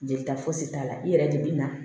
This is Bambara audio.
Jelita fosi t'a la i yɛrɛ de bi na